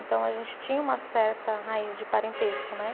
Então, a gente tinha uma certa raiz de parentesco, né?